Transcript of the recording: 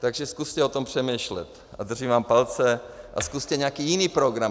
Takže zkuste o tom přemýšlet a držím vám palce a zkuste nějaký jiný program.